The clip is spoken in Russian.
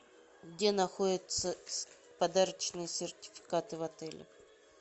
где находятся подарочные сертификаты в отеле